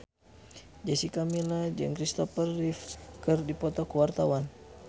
Jessica Milla jeung Kristopher Reeve keur dipoto ku wartawan